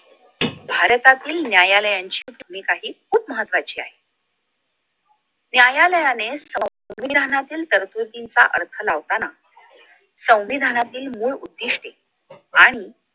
भारतातील न्यायालयांची भूमिकाहि खूप महत्वाची आहे न्यायालयाने संविधानातील तरतुदींचा अर्थ लावताना संविधानातील मूळ उद्दिष्ठ्ये आणि